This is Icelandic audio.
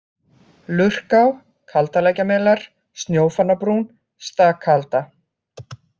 Lurká, Kaldalækjarmelar, Snjófannabrún, Stakaalda